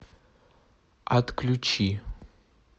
отключи